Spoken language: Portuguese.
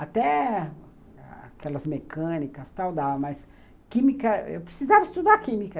Até aquelas mecânicas tal, dava, mas química, eu precisava estudar química.